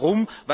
Und warum?